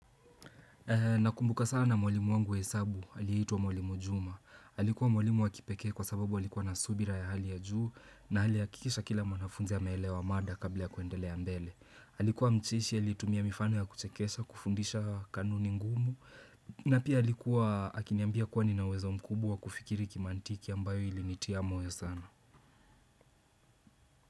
Nakumbuka sana mwalimu wangu wa hesabu, aliitwa mwalimu Juma. Alikuwa mwalimu wa kipekea kwa sababu alikuwa na subira ya hali ya juu na aliahakikisha kila mwanafunzi ameelewa mada kabla ya kuendelea mbele. Alikuwa mcheshi, alitumia mifano ya kuchekesha, kufundisha kanuni ngumu. Na pia alikuwa, akiniambia kuwa nina uwezo mkubwa wa kufikiria kimantiki ambayo ilinitia moyo sana.